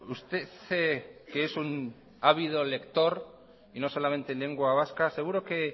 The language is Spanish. usted que es un ávido lector y no solamente en lengua vasca seguro que